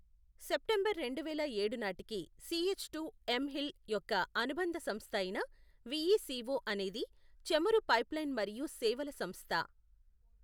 September రెండువేల ఏడు నాటికి సిఎచ్టు ఎమ్ హిల్ యొక్క అనుబంధ సంస్థ అయిన విఇసిఒ అనేది చమురు పైప్లైన్ మరియు సేవల సంస్థ.